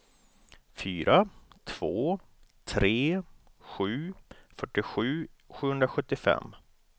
fyra två tre sju fyrtiosju sjuhundrasjuttiofem